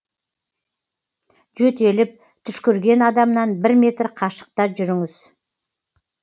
жөтеліп түшкірген адамнан бір метр қашықта жүріңіз